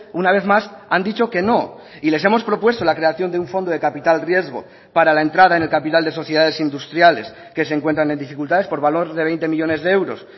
una vez más han dicho que no y les hemos propuesto la creación de un fondo de capital riesgo para la entrada en el capital de sociedades industriales que se encuentran en dificultades por valor de veinte millónes de euros